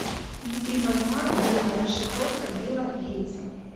внутри мозга билла расшифровка билла гейтса